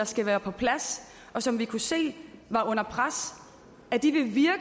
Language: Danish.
skal være på plads og som vi kunne se var under pres